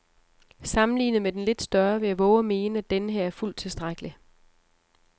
Sammenlignet med den lidt større vil jeg vove at mene, at denneher er fuldt tilstrækkelig.